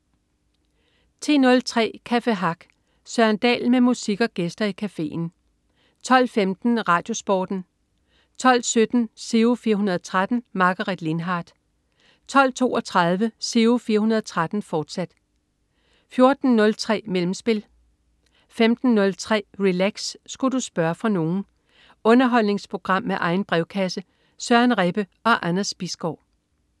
10.03 Café Hack. Søren Dahl med musik og gæster i cafeen 12.15 RadioSporten 12.17 Giro 413. Margaret Lindhardt 12.32 Giro 413, fortsat 14.03 Mellemspil 15.03 Relax. Sku' du spørge fra nogen? Underholdningsprogram med egen brevkasse. Søren Rebbe og Anders Bisgaard